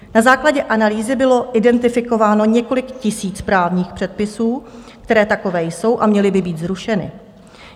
Na základě analýzy bylo identifikováno několik tisíc právních předpisů, které takové jsou a měly by být zrušeny.